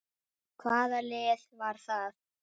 Hvaða lið var það?